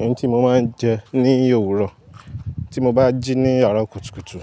Ohun tí mo máa ń jẹ ní òwúrọ̀, tí mo bá jí ní àárọ̀ kùtùkùtù